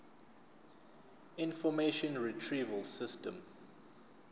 information retrieval system